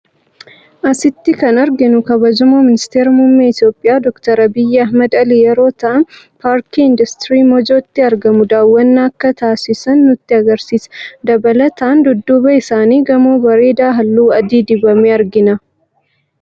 Asitti kan arginu kabajamoo ministeera muummee Itiyoophiyaa Doocter Abiyyi Ahimad Alii yeroo ta'an paarkii Industirii Moojootti argamuun daawwannaa akka taasisan nutti agarsiisa. Dabalataan dudduuba isaanitti gamoo bareedaa halluu adii dibame argina.